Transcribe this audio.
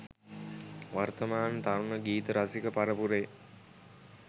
වර්තමාන තරුණ ගීත රසික පරපුරේ